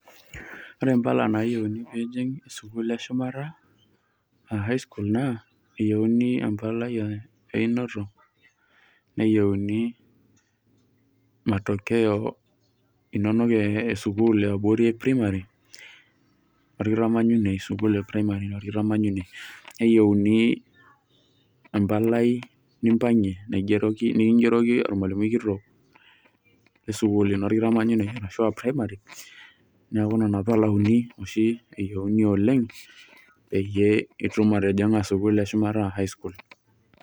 Ore impala nayieuni pijing' sukuul eshumata, ah High school naa, eyieuni empalai einoto, neyieuni matokeo inonok esukuul eabori e primary, orkitamanyunei sukuul e primary orkitamanyunei. Neyieuni empalai nimpang'ie naigeroki nikigeroki ormalimui kitok lesukuul ino orkitamanyunei ashua primary, neeku nena pala uni oshi eyieuni oleng, peyie itum atijing'a sukuul eshumata ashua High school.